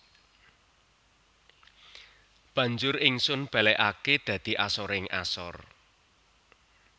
Banjur Ingsun balekake dadi asoring asor